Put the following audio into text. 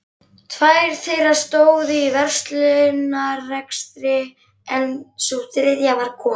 Tvær þeirra stóðu í verslunarrekstri en sú þriðja var kona